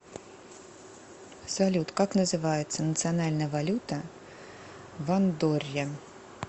салют как называется национальная валюта в андорре